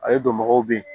Ale donbagaw be yen